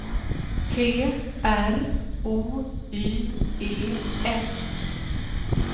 T R O Y E S